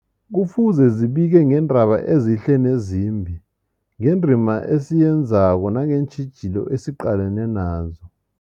Kufuze zibike ngeendaba ezihle nezimbi, ngendima esiyenzako nangeentjhijilo esiqalene nazo.